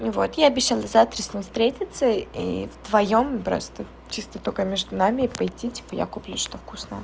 ну вот я обещала завтра с ним встретиться и вдвоём просто чисто только между нами пойти типа я куплю что-то вкусное